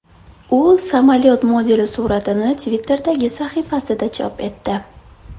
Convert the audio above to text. U samolyot modeli suratini Twitter’dagi sahifasida chop etdi.